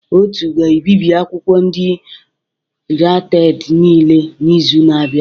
Otu ga-ebibi akwụkwọ ndị pirated niile n'izu na-abịa